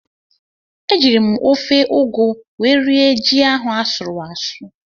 Ejiri m ofe ụgụ wee rie ji ahụ asụrụ asụ.